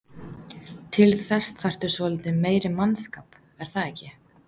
Til þess þarftu svolítið meiri mannskap er það ekki?